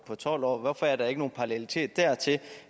tolv år hvorfor er der ikke nogen parallelitet der til